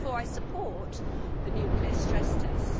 Therefore, I support the nuclear stress tests.